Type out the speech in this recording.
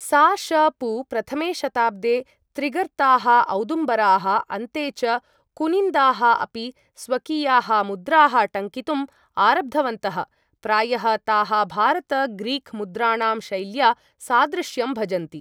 सा.श.पू. प्रथमे शताब्दे त्रिगर्ताः, औदुम्बराः, अन्ते च कुनिन्दाः अपि स्वकीयाः मुद्राः टङ्कितुम् आरब्धवन्तः, प्रायः ताः भारत ग्रीक मुद्राणां शैल्या सादृश्यं भजन्ति।